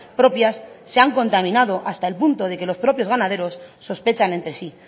propias se han contaminado hasta el punto de que los propios ganaderos sospechan entre sí